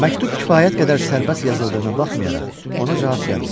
Məktub kifayət qədər sərbəst yazıldığına baxmayaraq, ona cavab gəlmir.